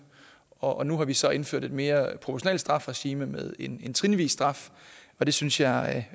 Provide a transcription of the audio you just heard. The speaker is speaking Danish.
og nu har vi så indført et mere proportionalt strafregime med en trinvis straf og det synes jeg